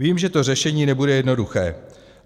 Vím, že to řešení nebude jednoduché.